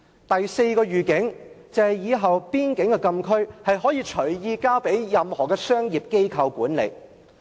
第四個預警，就是以後邊境禁區，可以隨意交給任何商業機構管理。